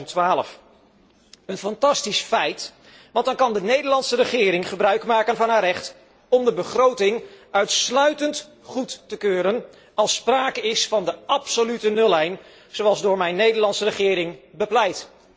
2012. Een fantastisch feit, want dan kan de Nederlandse regering gebruikmaken van haar recht om de begroting uitsluitend goed te keuren als sprake is van de absolute nullijn, zoals door mijn Nederlandse regering bepleit.